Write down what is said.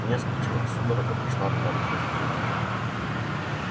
меня скрутило судорога прошла от пяток до затылка